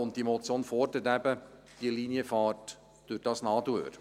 Und diese Motion fordert eben die Linienfahrt durch dieses Nadelöhr.